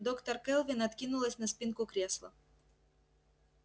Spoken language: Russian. доктор кэлвин откинулась на спинку кресла